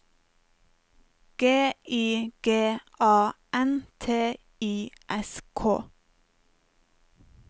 G I G A N T I S K